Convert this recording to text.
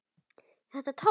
Þetta tókst.